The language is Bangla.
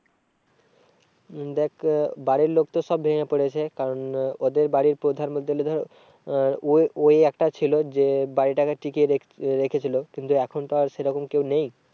দেখ বাড়ির লোক তো সব ভেঙে পড়েছে কারণ ওদের বাড়ির প্রধান বলতে গেলে তো আহ ও ওই একটা ছিল যে বাড়িটাকে টিকিয়ে রেখেছিল। কিন্তু এখন তো আর সে রকম কেউ নেই।